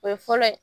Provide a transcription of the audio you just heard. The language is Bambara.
O ye fɔlɔ ye